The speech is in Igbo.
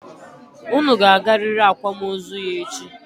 Unu ga-agarịrị akwamozu ya echi!